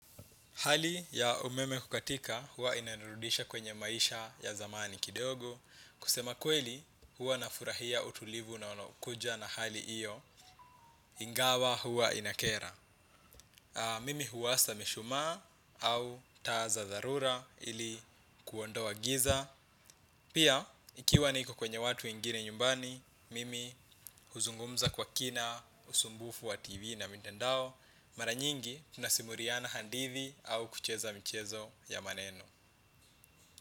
Hali ya umeme kukatika huwa inanurudisha kwenye maisha ya zamani kidogo. Kusema kweli huwa nafurahia utulivu na unaokuja na hali iyo ingawa huwa inakera. Mimi huwasha mishumaa au taa za dharura ili kuondoa giza. Pia, ikiwa niko kwenye watu wengine nyumbani, mimi huzungumza kwa kina, usumbufu wa TV na mtandao, mara nyingi tunasimuliana hadithi au kucheza mchezo ya maneno.